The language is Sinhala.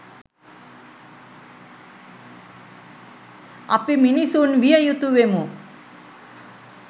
අපි මිනිසුන් විය යුතු වෙමු.